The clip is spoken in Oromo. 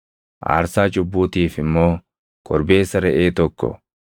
aarsaa cubbuutiif immoo korbeessa reʼee tokko,